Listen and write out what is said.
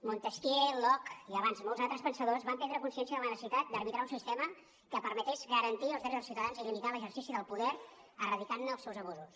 montesquieu locke i abans molts altres pensadors van prendre consciència de la necessitat d’arbitrar un sistema que permetés garantir els drets dels ciutadans i limitar l’exercici del poder erradicant ne els abusos